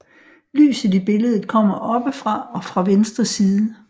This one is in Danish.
Lyset i billedet kommer oppefra og fra venstre side